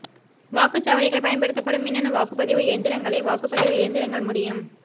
வாக்குச் சாவடிகள் பயன்படுத்தப்படும் மின்னணு வாக்குப்பதிவு எந்திரங்களை வாக்குப் பதிவு இயந்திரங்கள் முடியும்